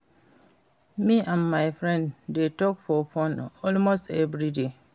Me and my friend dey talk for phone almost every day